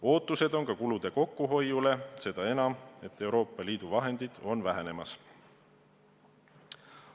Loodetakse ka kulude kokkuhoidu, eriti põhjusel, et Euroopa Liidu vahendid on vähenemas.